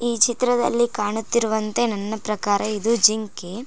ಈ ಚಿತ್ರದಲ್ಲಿ ಕಾಣುತ್ತಿರುವಂತೆ ನನ್ನ ಪ್ರಕಾರ ಇದು ಜಿಂಕೆ.